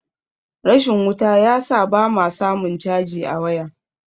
rashin wuta ya sa ba ma samun caji a waya